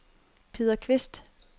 Peder Kvist